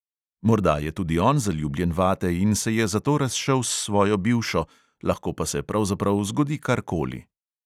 Morda je tudi on zaljubljen vate in se je zato razšel s svojo bivšo, lahko pa se pravzaprav zgodi karkoli.